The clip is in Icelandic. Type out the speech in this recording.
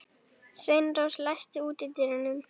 Sveinrós, læstu útidyrunum.